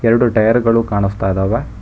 ಎರಡು ಟಯರ್ ಗಳು ಕಾಣಸ್ತಾ ಇದಾವೆ.